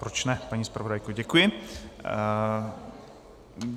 Proč ne, paní zpravodajko, děkuji.